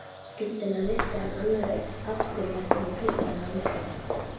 Hart var barist í öndverðu, og veitti hvorugum betur.